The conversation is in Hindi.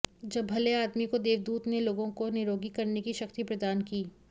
जब भले आदमी को देवदूत ने लोगों को निरोगी करने की शक्ति प्रदान की